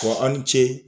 Fɔ aw ni ce